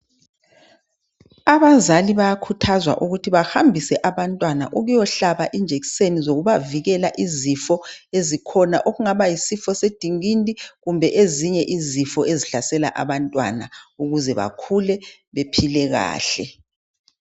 Abazali bayakhuthazwa ukuthi bahambise abantwana ukuyohlaba injekiseni zokubavikela izifo ezikhona okungaba yisifo sendingindi kumbe ezinye izifo ezihlasela abantwana ukuze bakhule bephile kahle.